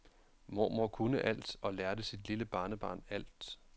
Mormor kunne alt og lærte sit lille barnebarn alt.